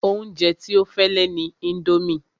Oúnjẹ tí ó fẹ́ lè ni indomie